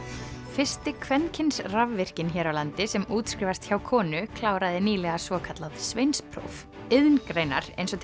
fyrsti kvenkyns rafvirkinn hér á landi sem útskrifast hjá konu kláraði nýlega svokallað sveinspróf iðngreinar eins og